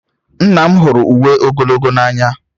Nna m hụrụ uwe ogologo n'anya.